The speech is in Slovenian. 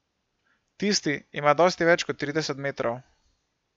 Tisti ima dosti več kot trideset metrov.